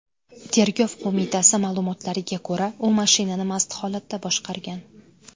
Tergov qo‘mitasi ma’lumotlariga ko‘ra, u mashinani mast holatda boshqargan.